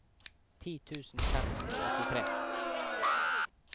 ti tusen fem hundre og åttitre